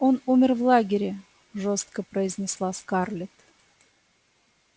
он умер в лагере жёстко произнесла скарлетт